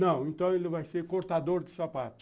Não, então ele vai ser cortador de sapato.